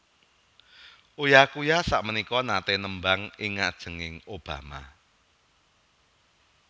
Uya Kuya sakmenika nate nembang ing ngajenge Obama